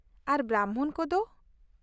ᱟᱨ ᱵᱨᱟᱢᱵᱷᱚᱱ ᱠᱚᱫᱚ ?